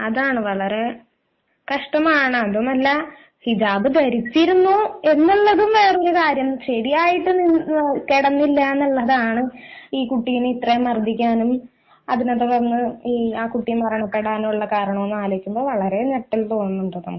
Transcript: അതെ വളരെ കഷ്ടമാണ് അതുമല്ല ഹിജാബ് ധരിച്ചിരുന്നു എന്നുള്ളതും വേറൊരു കാര്യം ശരിയായിട്ട് കേടെന്നില്ല എന്നതാണ് ഈ കുട്ടിയെ ഇത്ര മർദ്ദിക്കാനും അതിനെത്തുടർന്ന് കുട്ടി മരണപ്പെടാനുള്ള കാരണം എന്ന് ഓർക്കുമ്പോൾ വളരെ ഞെട്ടൽ തോന്നുന്നുണ്ട് നമ്മക്ക്